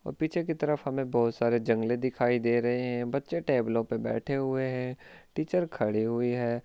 और पीछे की तरफ हमें बहुत सारे जंगले दिखाई दे रहे है बच्चे टेबलो पर बैठे हुए है टीचर खड़ी हुई है।